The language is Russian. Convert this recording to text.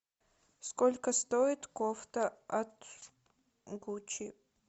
сколько стоит кофта от гуччи